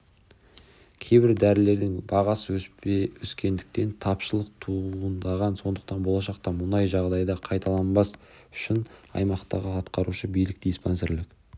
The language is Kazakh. кейбір дәрілердің бағасы өскендіктен тапшылық туындаған сондықтан болашақта мұндай жағдай қайталанбас үшін аймақтағы атқарушы билік диспансерлік